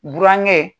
Burankɛ